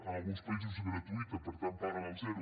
en alguns països és gratuïta per tant paguen el zero